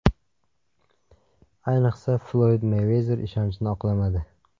Ayniqsa, Floyd Meyvezer ishonchni oqlamadi.